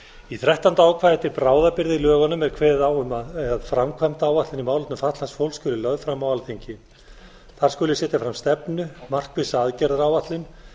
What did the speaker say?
í þrettánda ákvæði til bráðabirgða í lögunum er kveðið á um að framkvæmdaáætlun í málefnum fatlaðs fólks skuli lögð fram á alþingi þar skuli setja fram stefnu og markvissa aðgerðaáætlun